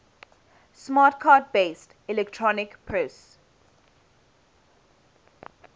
smart card based electronic purse